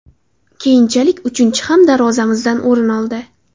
Keyinchalik uchinchisi ham darvozamizdan o‘rin oldi.